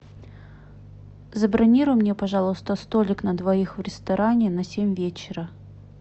забронируй мне пожалуйста столик на двоих в ресторане на семь вечера